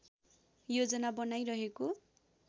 योजना बनाइरहेको